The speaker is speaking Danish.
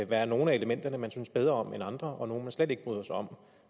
være nogle af elementerne man synes bedre end andre og nogle man slet ikke bryder sig om